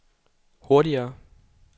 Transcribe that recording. hurtigere